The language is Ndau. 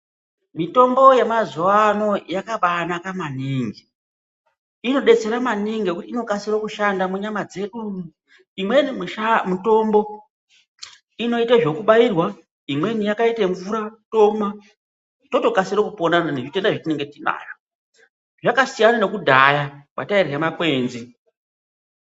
Mitombo yemazuwa ano yakabanaka maningi, inodetsera maningi ngekuti inokasira kushanda munyama dzedu imweni musha mutombo inoita zvekubairwa , imweni yakaite mvura tomwa totokasira kupona totoita zvatenge tinazvo zvakasiyana nekudhaya pataidya makwenzi